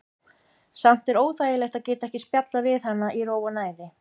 Samt er óþægilegt að geta ekki spjallað við hana í ró og næði.